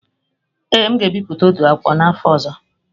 Ee, m ga-ebipụta otú akwụkwọ n'afọ ọzọ.